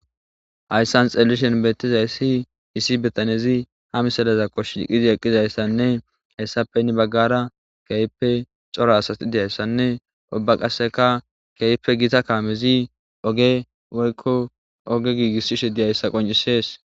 Hayssan xelelishen beettizayssi issi betanezi ha misalaza koshi diqizi eqqizayssanne hayssappe nni baggara keype cora asasi diyayssanne obba qaseka keype gita kaamezi oge woykko oge giigisshishe di hayssa qoncisees